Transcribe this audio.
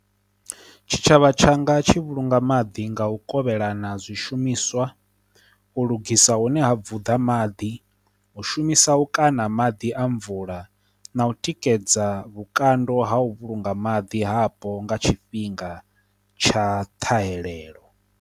Tshitshavha tshanga tshi vhulunga maḓi nga u kovhelana zwi shumiswa, u lugisa hune ha vunḓa maḓi, u shumisa u kaṋa maḓi a mvula, na u tikedza vhukando ha u vhulunga maḓi hapo nga tshifhinga tsha ṱhahelelo.